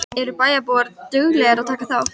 Eru bæjarbúar duglegir að taka þátt?